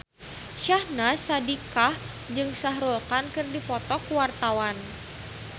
Syahnaz Sadiqah jeung Shah Rukh Khan keur dipoto ku wartawan